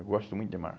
Eu gosto muito de mar.